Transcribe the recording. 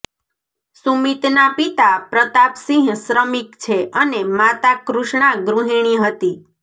સુમિતના પિતા પ્રતાપ સિંહ શ્રમિક છે અને માતા કૃષ્ણા ગૃહિણી હતી